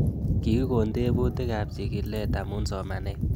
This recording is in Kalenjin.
Kikikon tebutik ab chig'ilet amu somanet